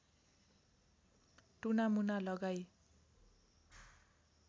टुनामुना लगाई